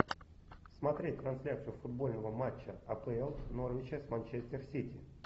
смотреть трансляцию футбольного матча апл норвича с манчестер сити